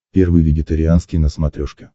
первый вегетарианский на смотрешке